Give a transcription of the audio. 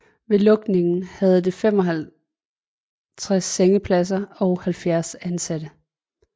Ved lukningen havde det 55 sengepladser og 70 ansatte